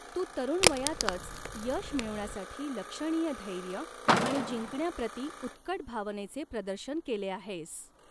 तू तरूण वय़ातच यश मिळवण्यासाठी लक्षणीय धैर्य आणि जिंकण्याप्रती उत्कट भावनेचे प्रदर्शन केले आहेस.